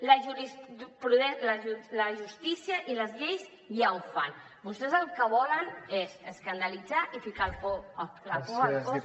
la justícia i les lleis ja ho fan vostès el que volen és escandalitzar i ficar por al cos de la gent